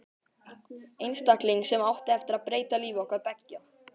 Einstakling sem átti eftir að breyta lífi okkar beggja.